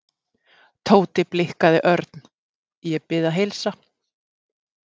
Tóti blikkaði Örn. Ég bið að heilsa